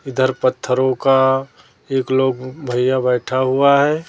इधर पत्थरों का एक लोग भैया बैठा हुआ हैं।